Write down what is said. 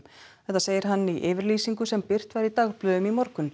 þetta segir hann í yfirlýsingu sem birt var í dagblöðum í morgun